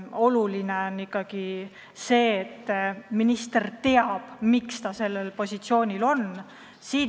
Oluline on ikkagi see, et minister teab, miks ta sellel positsioonil on.